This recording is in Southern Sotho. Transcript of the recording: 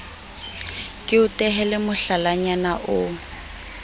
ke o tehele mohlalanyana o